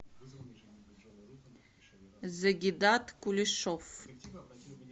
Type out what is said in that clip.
загидат кулешов